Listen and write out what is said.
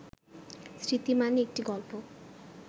স্মৃতি মানে একটি গল্প